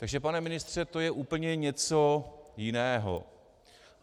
Takže pane ministře, to je úplně něco jiného.